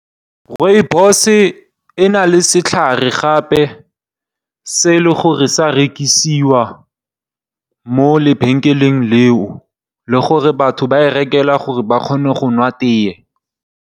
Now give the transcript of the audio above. Rooibos e na le setlhare gape se e le gore sa rekisiwa mo lebenkeleng leo le gore batho ba e rekelwa gore ba kgone go nwa tee.